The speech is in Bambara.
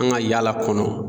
An ka yaala kɔnɔ